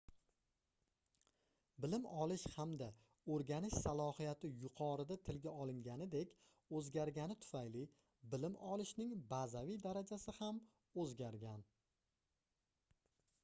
bilim olish hamda oʻrganish slohiyati yuqorida tilga olinganidek oʻzgargani tufayli bilim olishning bazaviy darajasi ham oʻzgargan